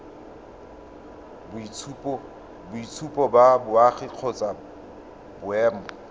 boitshupo ba boagi kgotsa boemo